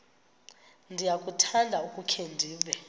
ndiyakuthanda ukukhe ndive